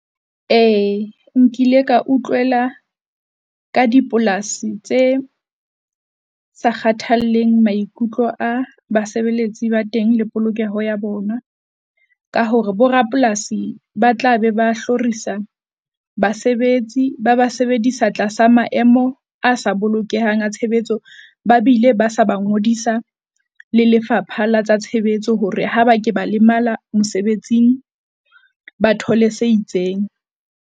Ee nkile ka utlwela ka dipolasi tse sa kgathalleng maikutlo a basebeletsi ba teng le polokeho ya bona. Ka hore bo rapolasi ba tla be ba hlorisa basebetsi. Ba ba sebedisa tlasa maemo a sa bolokehang a tshebetso. Ba bile ba sa ba ngodisa le Lefapha la tsa Tshebetso hore ha ba ke ba lemala mosebetsing, ba thole se itseng.